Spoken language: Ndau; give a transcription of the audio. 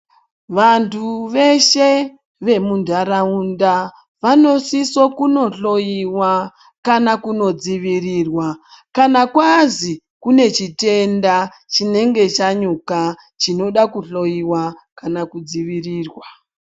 Vanthu veshe vemuntharaunda vanosiso kunohloyiwa kana kunodzivirirwa kana kwazi kune chitenda chinenge chanyuka chinoda kuhloyiwa kana kudzivirirwa.